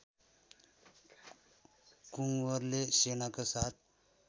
कुँवरले सेनाका साथ